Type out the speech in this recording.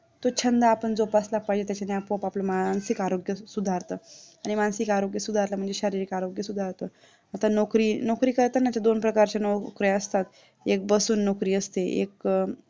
तो छंद आपण जोपासला पाहिजे त्याच्याने आपोआप आपलं मानसिक आरोग्य सुधारत आरणि मानसिक आरोग्य सुधारलं म्हणजे शारीरिक आरोग्य सुधारत नोकरी करतंच दोन प्रकारच्या नोकऱ्या असतात एक बसून नोकरी असते एक